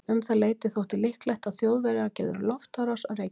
Um það leyti þótti líklegt að Þjóðverjar gerðu loftárás á Reykjavík.